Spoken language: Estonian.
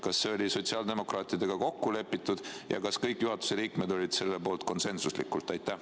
Kas see oli sotsiaaldemokraatidega kokku lepitud ja kas kõik juhatuse liikmed olid selle poolt konsensuslikult?